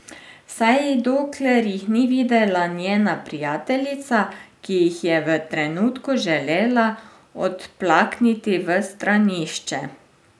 Vsaj dokler jih ni videla njena prijateljica, ki jih je v trenutku želela odplakniti v stranišče.